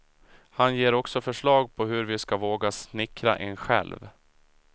Han ger också förslag på hur vi ska våga snickra en själv.